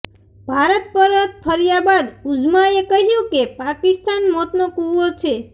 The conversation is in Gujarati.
ભારત પરત ફર્યા બાદ ઉઝ્માએ કહ્યું કે પાકિસ્તાન મોતનો કૂવો છે